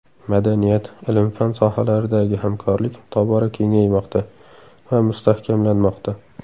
Madaniyat, ilm-fan sohalaridagi hamkorlik tobora kengaymoqda va mustahkamlanmoqda.